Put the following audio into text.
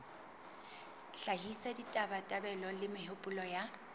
hlahisa ditabatabelo le mehopolo ya